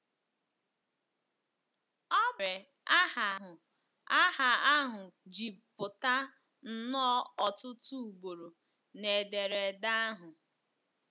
Ọ bụ ya mere aha ahụ aha ahụ ji pụta nnọọ ọtụtụ ugboro n'ederede ahụ.